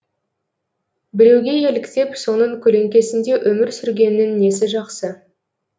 біреуге еліктеп соның көлеңкесінде өмір сүргеннің несі жақсы